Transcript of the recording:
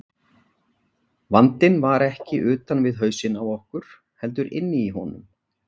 Vandinn var ekki utan við hausinn á okkur, heldur inni í honum.